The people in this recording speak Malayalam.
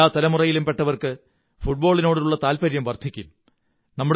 എല്ലാ തലമുറയിലുംപെട്ടവര്ക്ക്ഫ ഫുട്ബോളിനോടുള്ള താത്പര്യം വര്ധിയക്കും